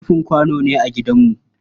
Rufin kwano ne a gidanmu.